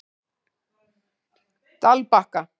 Dalbakka